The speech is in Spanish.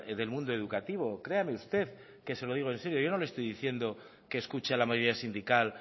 del mundo educativo créanme usted que se lo digo en serio yo no le estoy diciendo que escuche a la mayoría sindical